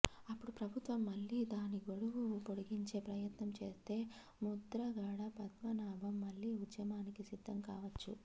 అప్పుడు ప్రభుత్వం మళ్ళీ దాని గడువు పొడిగించే ప్రయత్నం చేస్తే ముద్రగడ పద్మనాభం మళ్ళీ ఉద్యమానికి సిద్దం కావచ్చు